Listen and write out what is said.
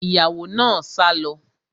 Ìyàwó náà sá lọ